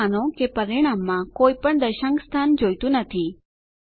હવે માનો કે પરિણામમાં કોઈપણ દશાંક સ્થાન જોઈતું નથી